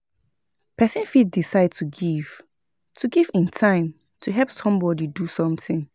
Persin fit decide to give im time to help somebody do something